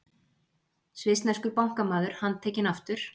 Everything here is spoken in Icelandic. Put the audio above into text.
Svissneskur bankamaður handtekinn aftur